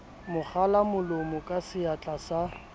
mo kwalamolomo ka seatla sa